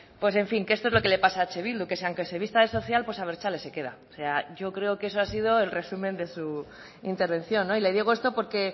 pues en fin que esto es lo que le pasa a eh bildu que aunque se vista de social abertzale se queda o sea yo creo que ese ha sido el resumen de su intervención le digo esto porque